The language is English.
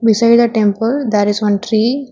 Beside the temple there is one tree.